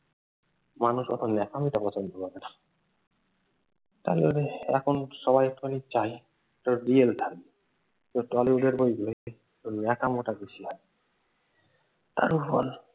মানুষ অতো ন্যাকামিটা পছন্দ করে না। তারপরে এখন সবাই একটুখানি চায় একটা রিয়েল থাকবে টলিউডের বইগুলোতে ওই ন্যাকামোটা বেশি হয়। তার উপর